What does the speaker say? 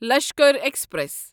Lashkar express